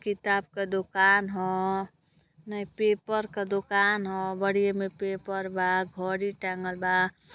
किताब का दुकान ह नहीं पेपर के दुकान ह बडी़ एमे‌ पेपर बा घड़ी टॅंगल बा।